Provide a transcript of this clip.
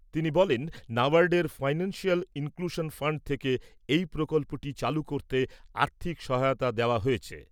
তিনি বলেন, ন্যাবার্ডের ফাইন্যানশিয়াল ইনক্লুশন ফাণ্ড থেকে এই প্রকল্পটি চালু করতে আর্থিক সহায়তা দেওয়া হয়েছে।